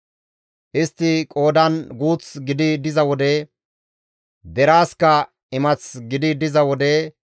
Istti qoodan guuth gidi diza wode, deraasikka imath gidi diza wode,